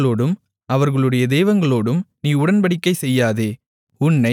அவர்களோடும் அவர்களுடைய தெய்வங்களோடும் நீ உடன்படிக்கை செய்யாதே